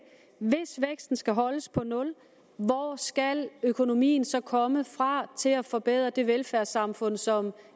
hvis væksten skal holdes på nul hvor skal økonomien så komme fra til at forbedre det velfærdssamfund som